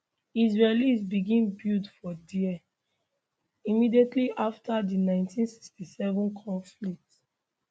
israelis begin build for dia immediately after di 1967 conflict